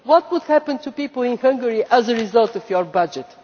What would happen to people in Hungary as a result of your budget?